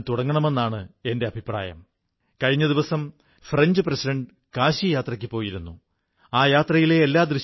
സുഹൃത്തുക്കളേ ഈ ഉത്സവകാലത്തും നമ്മുടെ അതിരുകൾ കാക്കുന്ന ധീരൻമാരായ സൈനികരെക്കൂടി നാം ഓർക്കേണ്ടതുണ്ട്